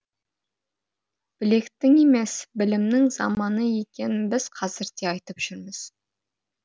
білектің емес білімнің заманы екенін біз қазір де айтып жүрміз